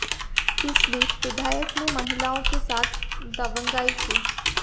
इस बीच विधायक ने महिलाओं के साथ दबंगाई की